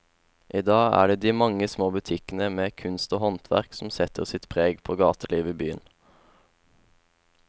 I dag er det de mange små butikkene med kunst og håndverk som setter sitt preg på gatelivet i byen.